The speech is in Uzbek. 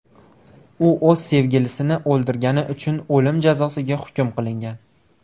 U o‘z sevgilisini o‘ldirgani uchun o‘lim jazosiga hukm qilingan.